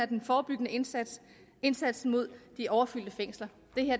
den forebyggende indsats og indsatsen mod de overfyldte fængsler